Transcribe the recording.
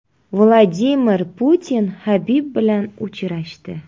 Vladimir Putin Habib bilan uchrashdi.